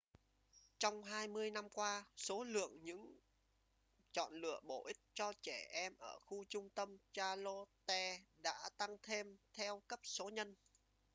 trong 20 năm qua số lượng những chọn lựa bổ ích cho trẻ em ở khu trung tâm charlotte đã tăng thêm theo cấp số nhân